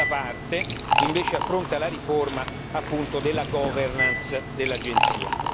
la seconda parte, invece, affronta la riforma appunto della governance dell'Agenzia.